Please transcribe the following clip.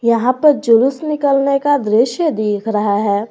यहां पर जुलूस निकालने का दृश्य दिख रहा है।